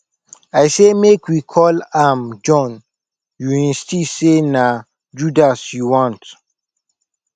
i say make we call am john you insist say na judas you want